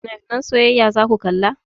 Finafinan soyayya zaku kalla?